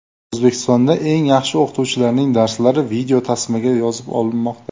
O‘zbekistonda eng yaxshi o‘qituvchilarning darslari videotasmaga yozib olinmoqda.